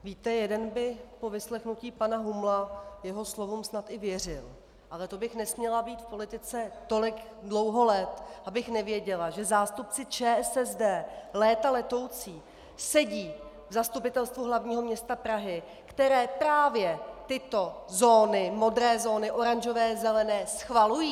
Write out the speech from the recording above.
Víte, jeden by po vyslechnutí pana Humla jeho slovům snad i věřil, ale to bych nesměla být v politice tolik dlouho let, abych nevěděla, že zástupci ČSSD léta letoucí sedí v Zastupitelstvu hlavního města Prahy, které právě tyto zóny, modré zóny, oranžové, zelené, schvalují.